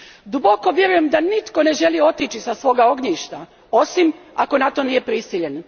Duboko vjerujem da nitko ne želi otići sa svog ognjišta, osim ako na to nije prisiljen.